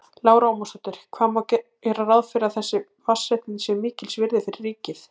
Lára Ómarsdóttir: Hvað má gera ráð fyrir að þessi vatnsréttindi séu mikils virði fyrir ríkið?